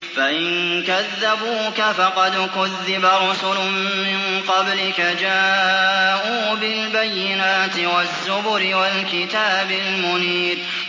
فَإِن كَذَّبُوكَ فَقَدْ كُذِّبَ رُسُلٌ مِّن قَبْلِكَ جَاءُوا بِالْبَيِّنَاتِ وَالزُّبُرِ وَالْكِتَابِ الْمُنِيرِ